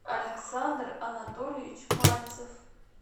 александр анатольевич мальцев